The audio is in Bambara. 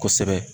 Kosɛbɛ